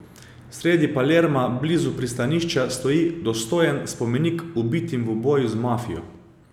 Sredi Palerma, blizu pristanišča, stoji dostojen spomenik ubitim v boju z mafijo.